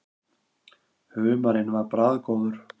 Humarinn var bragðgóður.